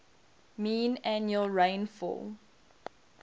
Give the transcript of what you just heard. mean annual rainfall